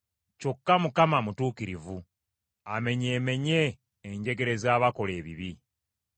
kyokka Mukama mutuukirivu; amenyeemenye enjegere z’abakola ebibi.